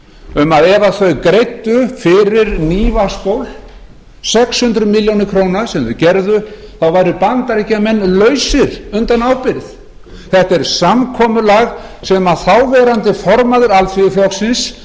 um að ef þau greiddu fyrir ný vatnsból sex hundruð milljóna króna sem þau gerðu þá væru bandaríkjamenn lausir undan ábyrgð þetta er samkomulag sem þáv formaður alþýðuflokksins